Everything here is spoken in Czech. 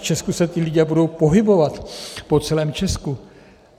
V Česku se ti lidé budou pohybovat po celém Česku.